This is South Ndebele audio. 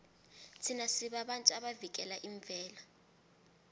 thina sibabantu abavikela imvelo